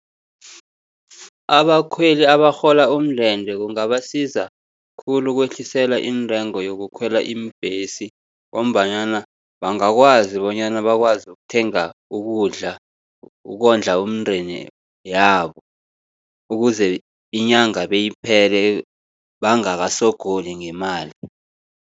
Abakhweli abarhola umndende kungabasiza khulu ukwehliselwa iintengo yokukhwela iimbhesi, ngombanyana bangakwazi bonyana bakwazi ukuthenga ukudla, ukondla umndeni yabo, ukuze inyanga beyiphele bangakasogoli ngemali.